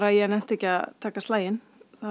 ég nennti ekki að taka slaginn